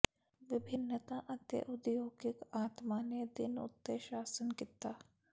ਵਿਭਿੰਨਤਾ ਅਤੇ ਉਦਯੋਗਿਕ ਆਤਮਾ ਨੇ ਦਿਨ ਉੱਤੇ ਸ਼ਾਸਨ ਕੀਤਾ